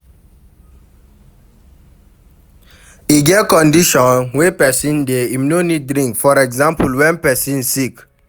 E get condition wey person dey, im no need drink for example when person sick